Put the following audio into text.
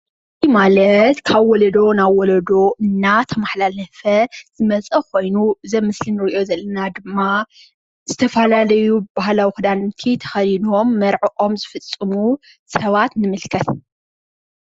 ማለት ካብ ወለዶ ናብ ወለዶ እናተመሓላለፈ ዝመፀ ኾይኑ እዚ ኣብ ምስሊ ንሪኦ ዘለና ድማ ዝተፈላለዩ ባህላዊ ኽዳውንቲ ተኸዲኖም መርዖኦም ዝፍፅሙ ሰባት ንምልከት፡፡